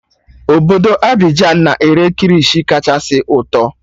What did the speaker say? Obodo Abuja na-ere kirishi kachasị ụtọ